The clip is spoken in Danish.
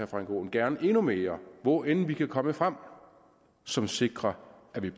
frank aaen gerne endnu mere hvor end vi kan komme frem som sikrer at vi